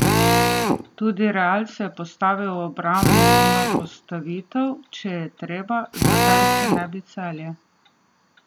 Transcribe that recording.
Tudi Real se postavi v obrambno postavitev, če je treba, zakaj se ne bi Celje?